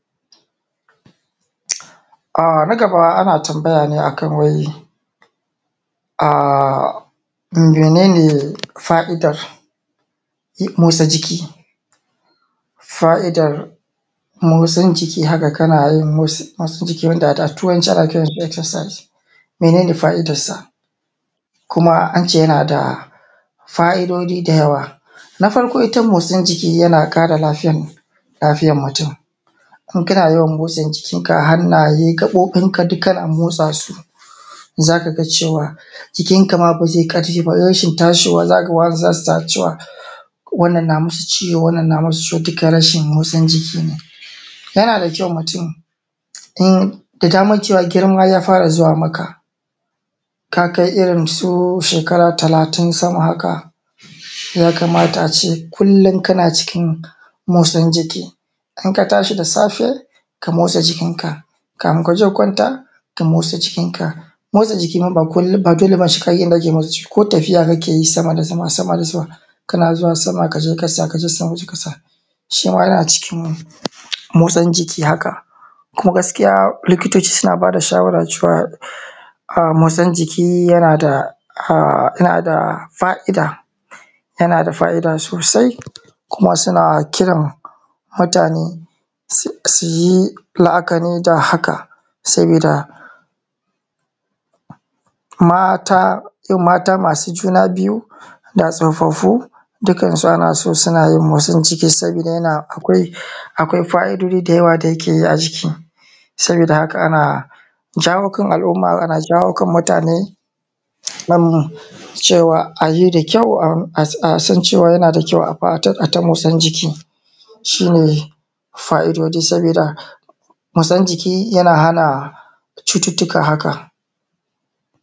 A na gaba ana tambaya ne akan wai a, mene ne fa’idar motsa jiki? Fai’idan motsin jiki haka kana wasu, wasu wanda ada da turanci ana kiransa( exercise) mene ne fa’idansa? Kuma ance yana da fa’idoji da yawa. Na farko ita motsin jiki yana ƙara lafiyan, lafiyan mutum, in kana yawan motsa jikinka hannaye, gaɓoɓinka duk kana motsasu za ka ga cewa jikinma ba zai ƙarfi ba, rashin tashowa, zakawa, za su zata cewa wannan na musu ciwo, wannan na musu ciwo duka rashin motsa jiki ne. Yana da kyau mutum in, da dama cewa girma ya fara zuwa maka, ka kai irin su shekara talatin sama haka ya kamata ace kullum kana motsin jiki. In katashi da safe, ka motsa jikinka, kafin kaje ka kwanta ka motsa jikinka. Motsa jiki ma ba kullum, ba dole sai kayi yanda ake, ko tafiya kake yi sama da sama, sama da sama kana zuwa sama kaje ka tsaya, kaje can waje ka tsaya shima yana cikin motsin jiki haka. Kuma gaskiya likitoci suna bada shawara cewa a motsin jiki yana da a yana da fa’ida, yana da fa’ida sosai, kuma suna kiran mutane su yi la’akari da haka. Sabida, mata, irin mata masu juna biyu da tsofafu dukansu ana so suna yin motsin jiki, sabida yana, akwai, akwai fa’idodi da yawa da yake yi a jiki. Sabida haka ana jawo kan al’umma ana jawo kan mutane nam ayi da kyau a san cewa yana da kyau a fatan, aita motsin jiki. Shi ne fa’idodi saboda motsan jiki yana hana cututuka haka.